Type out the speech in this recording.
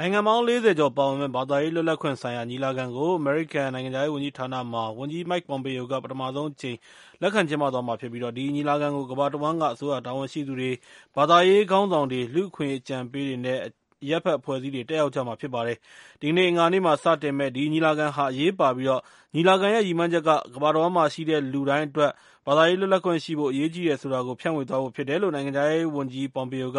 နိုင်ငံပေါင်း ၄၀ ကျော်ပါဝင်မယ့်ဘာသာရေးလွတ်လပ်ခွင့်ဆိုင်ရာညီလာခံကို အမေရိကန်နိုင်ငံခြားရေးဝန်ကြီးဌာနမှာ ဝန်ကြီး Mike Pompeo က ပထမဆုံးအကြိမ်လက်ခံကျင်းပသွားမှာဖြစ်ပြီး၊ ဒီညီလာခံကို ကမ္ဘာတဝှမ်းက အစိုးရတာဝန်ရှိသူတွေ၊ ဘာသာရေးခေါင်းဆောင်တွေ၊ လူ့အခွင့်အရေးအကြံပေးတွေ နဲ့ အရပ်အဖက်အဖွဲ့အစည်းတွေလည်း တက်ရောက်ကြမှာဖြစ်ပါတယ်။ အင်္ဂါနေ့မှာ စတင်မယ့် ဒီညီလာခံက အရေးပါပြီး၊ ညီလာခံရဲ့ ရည်မှန်းချက်က ကမ္ဘာတဝှမ်းမှာရှိတဲ့ လူတိုင်းအတွက် ဘာသာရေးလွတ်လပ်ခွင့်ရှိဖို့ အရေးကြီးတယ်ဆိုတာကို ဖြန့်ဝေသွားဖို့ဖြစ်တယ်လို့ နိုင်ငံခြားရေးဝန်ကြီး Pompeo က